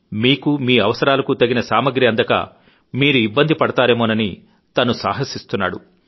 మీకూ మీ అవసరాలకూ తగిన సామాగ్రి అందక మీరు ఇబ్బంది పడతారేమోనని తను సాహసిస్తున్నాడు